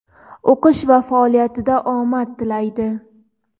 o‘qish va faoliyatida omad tilaydi!.